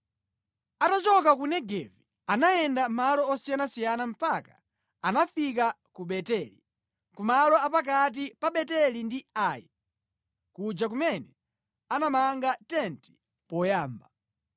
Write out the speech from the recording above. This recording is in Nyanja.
Atachoka ku Negevi, anayenda malo osiyanasiyana mpaka anafika ku Beteli, ku malo a pakati pa Beteli ndi Ai, kuja kumene anamanga tenti poyamba,